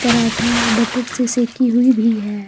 Paratha butter से सेकी हुई भी है।